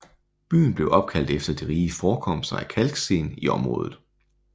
Byen blev opkaldt efter de rige forekomster af kalksten i området